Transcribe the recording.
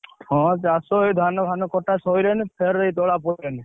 ହଁ, ଏଇ ଚାଷ ଧାନ ଫାନ କଟା ସଇଲାଣି, ଫେରେ ତଳା ପଇଲାଣି।